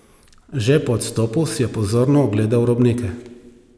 Že po odstopu si je pozorno ogledal robnike.